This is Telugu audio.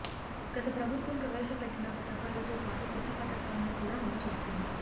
గత ప్రభుత్వం ప్రవేశపెట్టిన పథకాలతో పాటు కొత్త పథకాలను కూడా అమలు చేస్తోంది